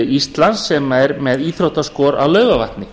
íslands sem er með íþróttaskor á laugarvatni